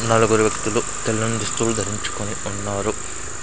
నలుగురు వ్యక్తులు తెల్లని దుస్తులు ధరించుకొని ఉన్నారు.